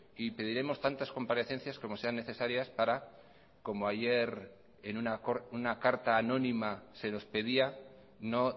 y pediremos tantas comparencias como sean necesarias para como ayer en una carta anónima se nos pedía no